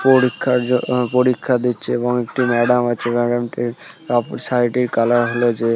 পরীক্ষার জ অ পরীক্ষা দিচ্ছে এবং একটি ম্যাডাম আছে। ম্যাডামটির শাড়িটির কালার হলো যে --